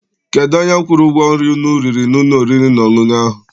Kedụ onye kwụrụ ụgwọ nri unu riri n'ụlọ oriri na ọṅụṅụ ahụ?